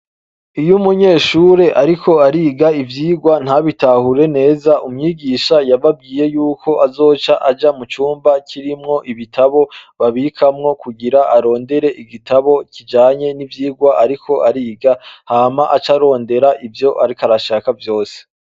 Iyo umunyeshure ariko ariga ivyigwa ntabitahure neza, umwigisha yababwiye y'uko azoca aja mu cumba kirimwo ibitabo babikamwo kugira arondere igitabo kijanye n'ivyigwa ariko ariga, hama ace arondera ivyo ariko arashaka vyose.